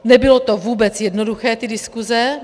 Nebylo to vůbec jednoduché, ty diskuse.